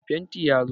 Mai fantin ya zo